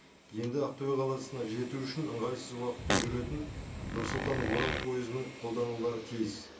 енді ақтөбе қаласына жету үшін ыңғайсыз уақытпен жүретін нұр сұлтан орал пойызының қолданулары тиіс